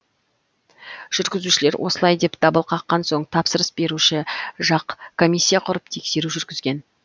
жүргізушілер осылай деп дабыл қаққан соң тапсырыс беруші жақ комиссия құрып тексеру жүргізген